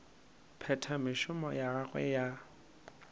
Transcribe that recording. phetha mešomo ya gagwe ya